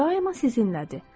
O daima sizinlədir.